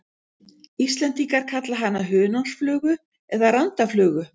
Íslendingar kalla hana hunangsflugu eða randaflugu.